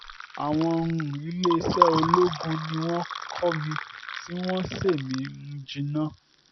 àwọn um iléeṣẹ́ ológun ni wọ́n kọ́ mi tí wọ́n ṣe mí um jìnnà